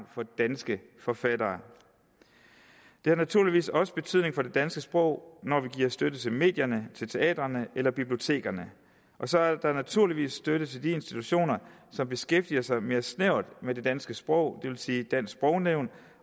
for danske forfattere det har naturligvis også betydning for det danske sprog når vi giver støtte til medierne teatrene eller bibliotekerne og så er der naturligvis støtte til de institutioner som beskæftiger sig mere snævert med det danske sprog det vil sige dansk sprognævn